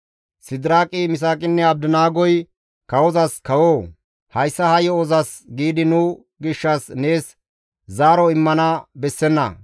Sidiraaqi, Misaaqinne Abdinaagoy kawozas, «Kawoo! Hayssa ha yo7ozas giidi nu gishshas nees zaaro immana bessenna.